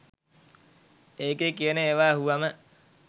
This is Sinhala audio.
ඒකේ කියන ඒවා ඇහුවාම